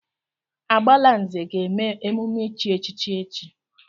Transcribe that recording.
Agbalanze ga-eme emume ichi echichi echi.